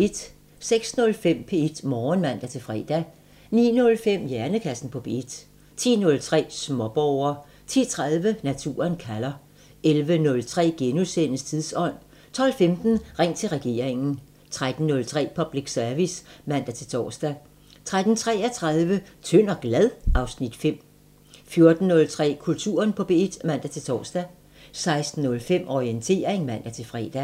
06:05: P1 Morgen (man-fre) 09:05: Hjernekassen på P1 10:03: Småborger 10:30: Naturen kalder 11:03: Tidsånd * 12:15: Ring til regeringen 13:03: Public Service (man-tor) 13:33: Tynd og glad? (Afs. 5) 14:03: Kulturen på P1 (man-tor) 16:05: Orientering (man-fre)